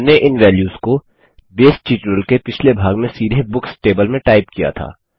हमने इन वेल्यूस को बेस ट्यूटोरियल के पिछले भाग में सीधे बुक्स टेबल में टाइप किया था